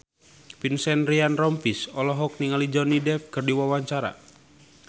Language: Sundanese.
Vincent Ryan Rompies olohok ningali Johnny Depp keur diwawancara